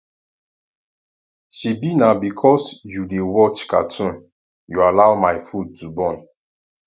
shebi na because you dey watch cartoon you allow my food to burn